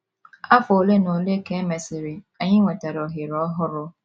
Afọ ole na ole ka e mesịrị, anyị nwetara ohere ọhụrụ.